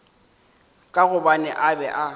ka gobane a be a